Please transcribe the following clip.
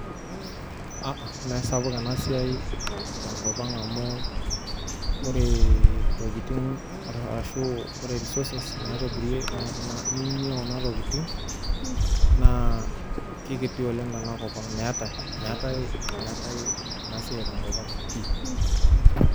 Aa meesapuk ena siai tenkop ang' amu ore intokitin arashu ore resources naitobirieki kuna tokitin naa kekiti oleng' tenakop meetai ena siai tenkop ang' pii.